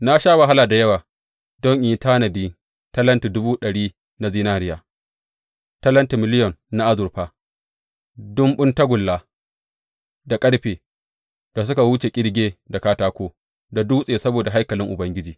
Na sha wahala da yawa don in yi tanadi talentin dubu ɗari na zinariya, talenti miliyon na azurfa, ɗumbun tagulla da ƙarfe da suka wuce ƙirge da katako da dutse saboda haikalin Ubangiji.